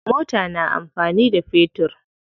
Mota na amfani da fetur.